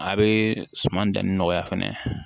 A bɛ suman danni nɔgɔya fɛnɛ